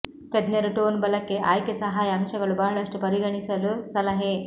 ತಜ್ಞರು ಟೋನ್ ಬಲಕ್ಕೆ ಆಯ್ಕೆ ಸಹಾಯ ಅಂಶಗಳು ಬಹಳಷ್ಟು ಪರಿಗಣಿಸಲು ಸಲಹೆ